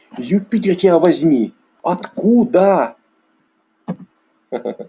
юпитер тебя возьми откуда